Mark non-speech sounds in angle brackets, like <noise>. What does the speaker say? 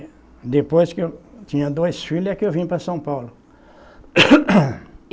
E depois que eu tinha dois filhos, é que eu vim para São Paulo. <coughs>